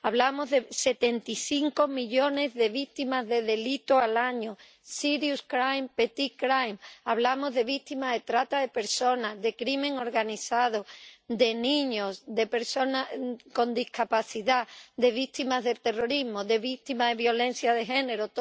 Hablamos de 75 millones de víctimas de delitos al año serious crime petty crime hablamos de víctimas de trata de personas, de delincuencia organizada, de niños, de personas con discapacidad, de víctimas del terrorismo, de víctimas de violencia de género.